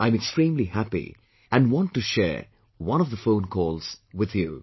I am extremely happy and want to share one of the phonecalls with you